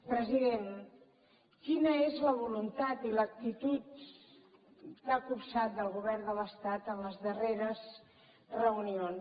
president quina és la voluntat i l’actitud que ha copsat del govern de l’estat en les darreres reunions que hi ha mantingut